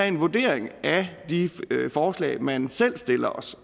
en vurdering af de forslag man selv stiller